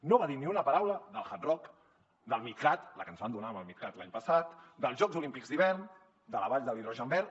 no va dir ni una paraula del hard rock del midcat la que ens van donar amb el midcat l’any passat dels jocs olímpics d’hivern de la vall de l’hidrogen verd